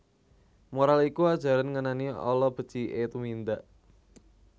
Moral iku ajaran ngenani ala beciké tumindak